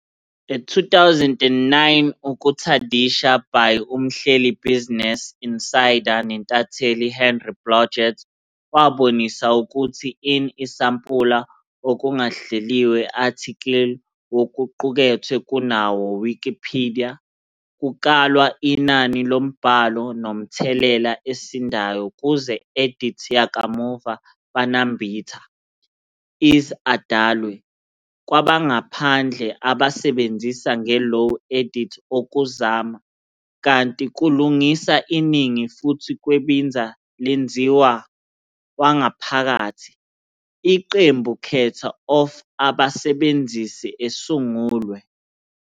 A 2009 Ukutadisha by umhleli Business Insider nentatheli Henry Blodget wabonisa kutsi in isampula okungahleliwe athikili wokuqukethwe kunawo Wikipedia, kukalwa inani lombhalo nomthelela esindayo kuze edit yakamuva banambitha, is adalwe "kwabangaphandle", abasebenzisi nge low edit okuzama, kanti kulungisa iningi futhi kwebinza lwenziwa "wangaphakathi", iqembu khetha of abasebenzisi esungulwe.